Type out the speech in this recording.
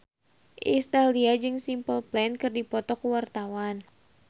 Iis Dahlia jeung Simple Plan keur dipoto ku wartawan